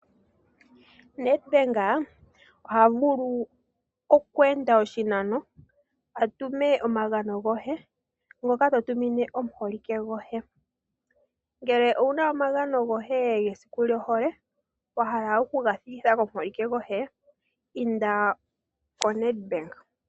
NedBank oha vulu oku enda oshinano a tume omagano goye ngoka to tumine omuholike goye. Ngele owuna omagano goye gesiku lyohole, wa hala oku ga thikitha komubolike goye, inda koNedbank.